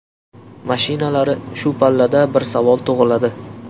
Mashinalari Shu pallada bir savol tug‘iladi.